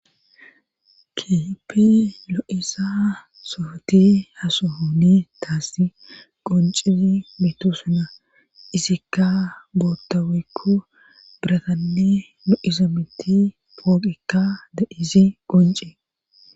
Kehipi lo7isa sofoti hasohooni taasi qoncizi mitu suna izikka bootoweekko biratanni lo7iza miti pooqikka de7izi qonci